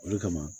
O de kama